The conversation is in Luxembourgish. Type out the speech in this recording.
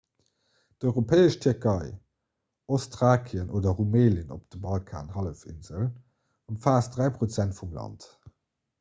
d'europäesch tierkei ostthrakien oder rumelien op der balkanhallefinsel ëmfaasst 3 % vum land